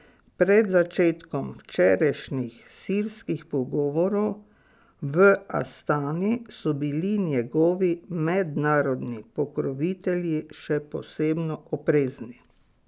Pred začetkom včerajšnjih sirskih pogovorov v Astani so bili njegovi mednarodni pokrovitelji še posebno oprezni.